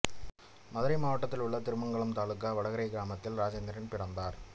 மதுரை மாவட்டத்திலுள்ள திருமங்கலம் தாலுக்கா வடகரை கிராமத்தில் ராஜேந்திரன் பிறந்தார்